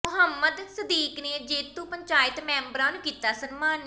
ਮੁਹੰਮਦ ਸਦੀਕ ਨੇ ਜੇਤੂ ਪੰਚਾਇਤ ਮੈਂਬਰਾਂ ਨੂੰ ਕੀਤਾ ਸਨਮਾਨਿਤ